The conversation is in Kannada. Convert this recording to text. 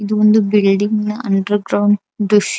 ಇದು ಒಂದು ಬಿಲ್ಡಿಂಗ್ ನ ಅಂಡರ್ ಗ್ರೌಂಡ್ ದೃಶ್ಯ --